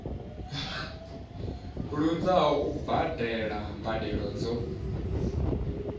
luzaho u badela mbadelo dzo